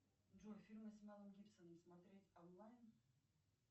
джой фильмы с мэлом гибсоном смотреть онлайн